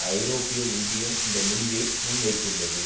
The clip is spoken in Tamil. ஐரோப்பிய ஒன்றியம் இந்த முடிவை முன்வைத்துள்ளது